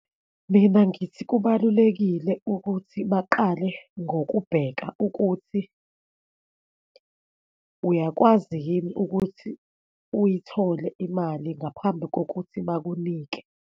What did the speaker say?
Mina, ngithi kubalulekile ukuthi baqale ngokubheka ukuthi uyakwazi yini ukuthi uyithole imali ngaphambi kokuthi bakunike.